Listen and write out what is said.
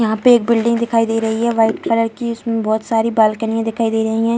यहाँ पे एक बिल्डिंग दिखाई दे रही है वाइट कलर की इसमें बहोत सारी बाल्कनियाँ दिखाई दे रही है।